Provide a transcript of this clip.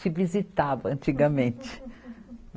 Se visitava antigamente.